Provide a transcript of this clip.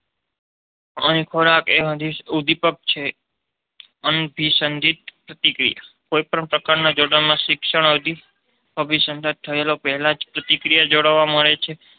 અહીં ખોરાંક એ હજી ઉદીપક છે. અનભિસંધિત પ્રતિક્રિયા કોઈપણ પ્રકારના જોડાણ શિક્ષણ અભિસંધાન થયા પહેલા જ પ્રતિક્રિયા જોવા મળે છે.